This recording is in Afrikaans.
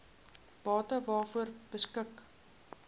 bate waaroor beskik